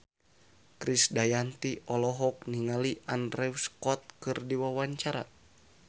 Krisdayanti olohok ningali Andrew Scott keur diwawancara